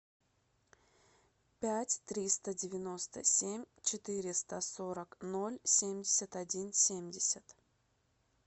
пять триста девяносто семь четыреста сорок ноль семьдесят один семьдесят